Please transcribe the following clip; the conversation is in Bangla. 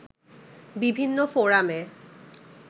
বিভিন্ন ফোরামে